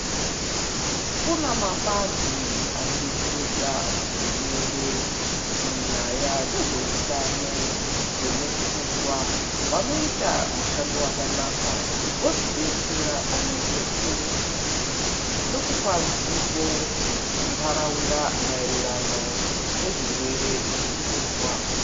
Kune mapazi anodetseredza hurumende munyaya dzezveutano wemupfungwa. Vanoita mushando wakanaka wekudetsera pamwechete nekupa zivo kuntaraunda maererano nezvirwere zvemupfungwa.